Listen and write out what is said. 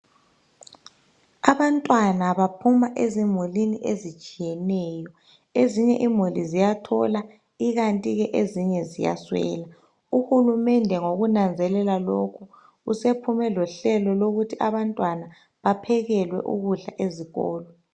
Abantwana baphuma ezimulini ezitshiyeneyo ezinye imuli ziyathola ikanti ke ezinye ziyaswela uhulumende ngokunanzelela lokhu usephume lohlelo lokuthi abantwana bephekelwe ukudla ezikolo.